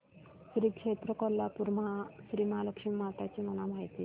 श्री क्षेत्र कोल्हापूर श्रीमहालक्ष्मी माता ची मला माहिती दे